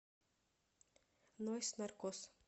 нойз наркос